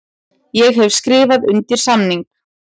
Ég hef skrifað undir samning.